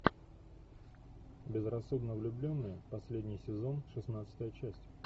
безрассудно влюбленные последний сезон шестнадцатая часть